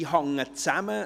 Sie hängen zusammen.